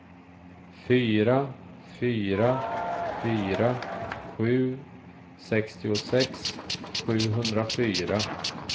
fyra fyra fyra sju sextiosex sjuhundrafyra